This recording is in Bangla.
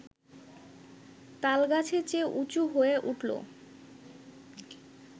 তালগাছের চেয়ে উঁচু হয়ে উঠল